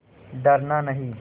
डरना नहीं